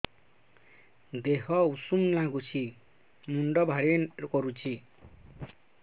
ଦିହ ଉଷୁମ ନାଗୁଚି ମୁଣ୍ଡ ଭାରି କରୁଚି